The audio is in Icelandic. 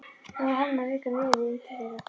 Hvað var hann að reka nefið inn til þeirra?